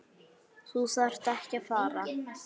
Þú þarft ekki að fara